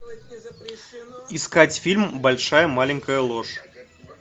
искать фильм большая маленькая ложь